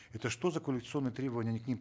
это что за квалификационные требования они к ним